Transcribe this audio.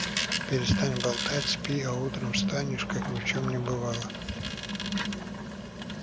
перестань болтать спи а утром встанешь как ни в чем не бывало